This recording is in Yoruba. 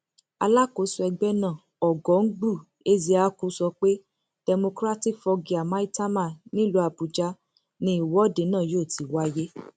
alákòóso ẹgbẹ náà ọgọngbù ezeaku sọ pé democratic foggia maitama nílùú àbújá ni ìwọde náà yóò ti wáyé